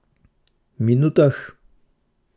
Minutah?